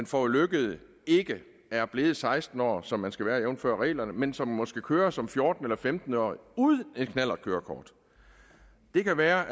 forulykkede ikke er blevet seksten år som man skal være jævnfør reglerne men som måske kører som fjorten eller femten årig uden et knallertkørekort det kan være